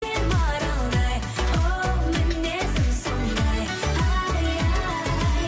кер маралдай оу мінезім сондай ай ай